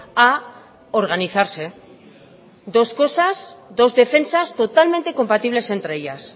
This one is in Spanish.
a organizarse dos cosas dos defensas totalmente compatibles entre ellas